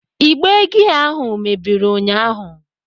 Ịgbe gia ahụ mebiri ụnyaahụ.